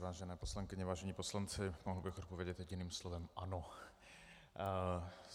Vážené poslankyně, vážení poslanci, mohl bych odpovědět jediným slovem: ano.